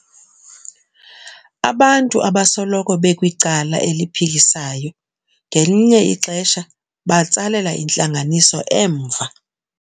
Abantu abasoloko bekwicala eliphikisayo ngelinye ixesha batsalela intlanganiso emva.